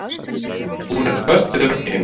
Hún er föst við vegginn.